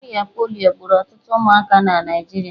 Ọrịa polio gburu ọtụtụ ụmụaka na Naịjirịa.